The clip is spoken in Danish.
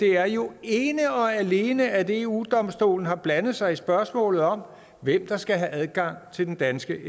er jo ene og alene at eu domstolen har blandet sig i spørgsmålet om hvem der skal have adgang til den danske